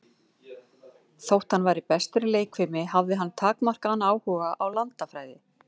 Þótt hann væri bestur í leikfimi, hafði hann takmarkaðan áhuga á landafræði.